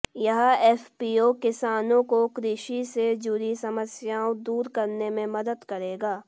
यह एफपीओ किसानों को कृषि से जुड़ी समस्याओं दूर करने में मदद करेगा